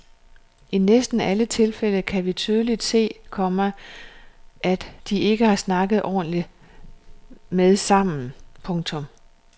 I næsten alle tilfælde kan vi tydeligt se, komma at de ikke har snakket ordentligt med sammen. punktum